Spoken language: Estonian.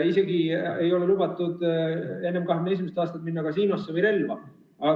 Ei ole lubatud isegi enne 21. eluaastat minna kasiinosse või relva kasutada.